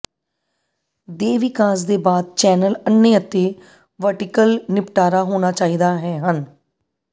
ਦੇ ਵਿਕਾਸ ਦੇ ਬਾਅਦ ਚੈਨਲ ਅੰਨ੍ਹੇ ਅਤੇ ਵਰਟੀਕਲ ਨਿਪਟਾਰਾ ਹੋਣਾ ਚਾਹੀਦਾ ਹੈ ਹਨ